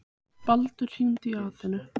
Baldur, hringdu í Atenu.